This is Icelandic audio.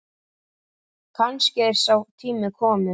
Kannski er sá tími kominn.